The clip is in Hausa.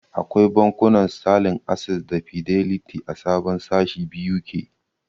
Akwai bankunan Sitalin, Ases da Fideliti a sabon sashi BUK.